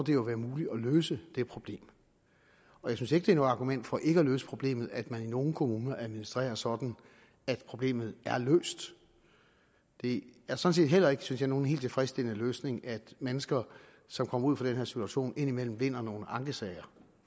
det jo være muligt at løse det problem jeg synes ikke et argument for ikke at løse problemet at man i nogle kommuner administrerer sådan at problemet er løst det er sådan set heller ikke synes jeg nogen helt tilfredsstillende løsning at mennesker som kommer ud for den her situation indimellem vinder nogle ankesager